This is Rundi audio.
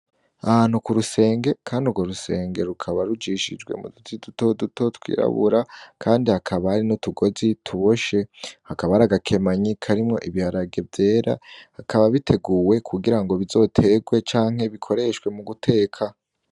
Ahantuku rusenge, kandi urwo rusenge rukaba rujishijwe mu duti duto duto twirabura, kandi hakaba ari no utugozi tuboshe hakaba ari agakemanyiko arimwo ibiharage vyera hakaba biteguwe kugira ngo bizoterwe canke bikoreshwe mu guteka.